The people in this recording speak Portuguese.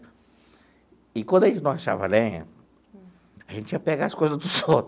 E, quando a gente não achava lenha, a gente ia pegar as coisas dos outros.